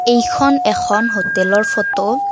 এইখন এখন হোটেলৰ ফটো ।